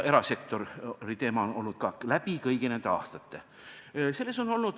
Erasektori teema on olnud laual läbi kõigi nende aastate.